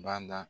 Bada